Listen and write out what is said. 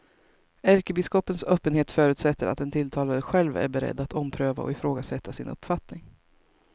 Ärkebiskopens öppenhet förutsätter att den tilltalade själv är beredd att ompröva och ifrågasätta sin uppfattning.